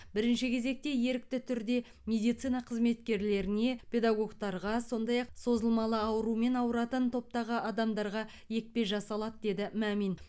бірінші кезекте ерікті түрде медицина қызметкерлеріне педагогтарға сондай ақ созылмалы аурумен ауыратын топтағы адамдарға екпе жасалады деді мамин